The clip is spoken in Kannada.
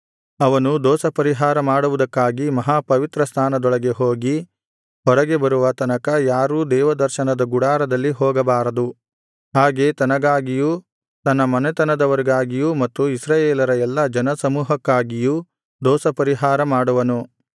ಅವನು ದೋಷಪರಿಹಾರ ಮಾಡುವುದಕ್ಕಾಗಿ ಮಹಾ ಪವಿತ್ರಸ್ಥಾನದೊಳಗೆ ಹೋಗಿ ಹೊರಗೆ ಬರುವ ತನಕ ಯಾರೂ ದೇವದರ್ಶನದ ಗುಡಾರದಲ್ಲಿ ಹೋಗಬಾರದು ಹಾಗೆ ತನಗಾಗಿಯೂ ತನ್ನ ಮನೆತನದವರಿಗಾಗಿಯೂ ಮತ್ತು ಇಸ್ರಾಯೇಲರ ಎಲ್ಲಾ ಜನಸಮೂಹಕ್ಕಾಗಿಯೂ ದೋಷಪರಿಹಾರ ಮಾಡುವನು